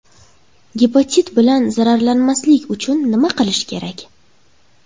Gepatit bilan zararlanmaslik uchun nima qilish kerak?